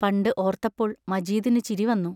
പണ്ട് ഓർത്തപ്പോൾ മജീദിനു ചിരി വന്നു.